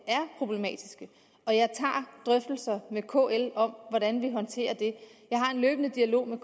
er problematiske og jeg tager drøftelser med kl om hvordan vi håndterer det jeg har en løbende dialog med